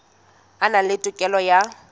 a na le tokelo ya